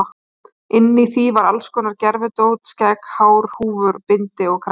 Inni í því var alls konar gervidót, skegg, hár, húfur, bindi og kragi.